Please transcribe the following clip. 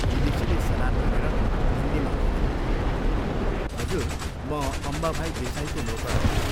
विदेशीले सलाम गरेर हिन्दीमा भन्यो, "हजुर, म अम्बाभाई देसाईको नोकर हूँ।